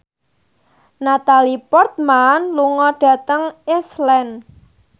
Natalie Portman lunga dhateng Iceland